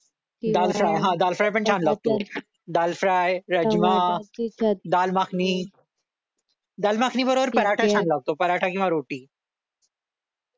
दाल fry rajma dal makhani dal makhani बरोबर पराठा छान लागतो पराठा किंवा रोटी